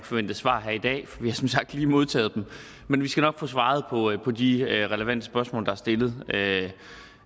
få dem besvaret her i dag for vi har som sagt lige modtaget dem men vi skal nok svare på de relevante spørgsmål der er stillet